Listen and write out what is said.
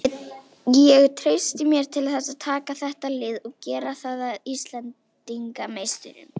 Ég treysti mér til þess að taka þetta lið og gera það að Íslandsmeisturum.